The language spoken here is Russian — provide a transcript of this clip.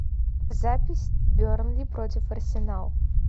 запись бернли против арсенал